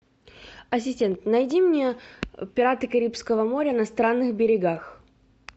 ассистент найди мне пираты карибского моря на странных берегах